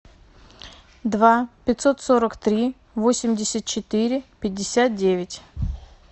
два пятьсот сорок три восемьдесят четыре пятьдесят девять